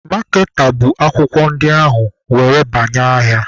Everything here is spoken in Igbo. Maaketa bụ akwụkwọ ndị ahụ were banye ahịa.